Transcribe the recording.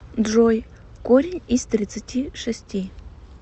джой корень из тридцати шести